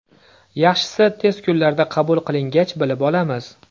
Yaxshisi tez kunlarda qabul qilingach bilib olamiz.